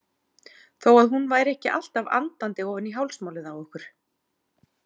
Þó að hún væri ekki alltaf andandi ofan í hálsmálið á okkur.